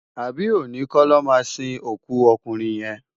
Abi óni kò lò má sin ókú òkúnrin yén?